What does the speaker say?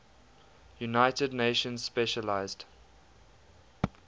united nations specialized